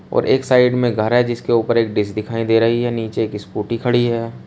और एक साइड में एक घर है जिसके ऊपर एक डिश दिखाई दे रही है नीचे एक स्कूटी खड़ी है।